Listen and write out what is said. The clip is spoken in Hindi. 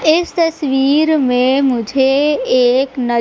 इस तस्वीर में मुझे एक न--